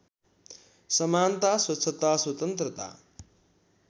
समानता स्वच्छता स्वतन्त्रता